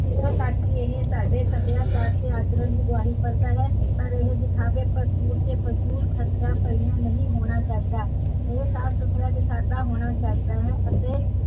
ਇੱਥੋਂ ਤਕ ਕੀ ਇਹ ਸਾਡੇ ਸਭਿਆਚਾਰ ਤੇ ਆਚਰਣ ਦੀ ਗਵਾਹੀ ਭਰਦਾ ਹੈ, ਪਰ ਇਹ ਦਿਖਾਵੇ ਫ਼ਜ਼ੂਲ ਤੇ ਫ਼ਜ਼ੂਲ ਖਰਚਾ ਇੰਨਾ ਨਹੀਂ ਹੋਣਾ ਚਾਹੀਦਾ ਇਹ ਸਾਫ ਸੁਥਰਾ ਤੇ ਸਾਦਾ ਹੋਣਾ ਚਾਹੀਦਾ ਹੈ ਅਤੇ